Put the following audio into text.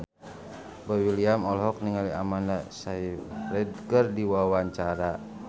Boy William olohok ningali Amanda Sayfried keur diwawancara